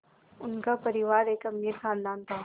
उनका परिवार एक अमीर ख़ानदान था